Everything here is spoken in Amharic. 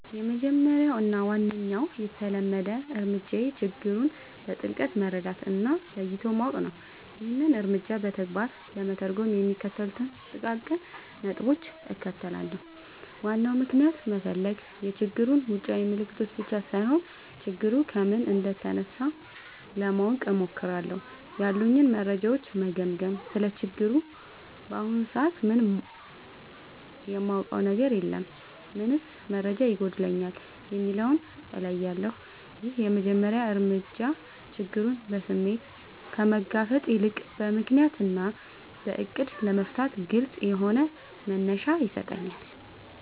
—የመጀመሪያው እና ዋነኛው የተለመደ እርምጃዬ ችግሩን በጥልቀት መረዳት እና ለይቶ ማወቅ ነው። ይህንን እርምጃ በተግባር ለመተርጎም የሚከተሉትን ጥቃቅን ነጥቦች እከተላለሁ፦ ዋናውን ምክንያት መፈለግ፣ የችግሩን ውጫዊ ምልክቶች ብቻ ሳይሆን፣ ችግሩ ከምን እንደተነሳ ለማወቅ እሞክራለሁ። ያሉኝን መረጃዎች መገምገም: ስለ ችግሩ በአሁኑ ሰዓት ምን የማውቀው ነገር አለ? ምንስ መረጃ ይጎድለኛል? የሚለውን እለያለሁ። ይህ የመጀመሪያ እርምጃ ችግሩን በስሜት ከመጋፈጥ ይልቅ በምክንያት እና በዕቅድ ለመፍታት ግልጽ የሆነ መነሻ ይሰጠኛል።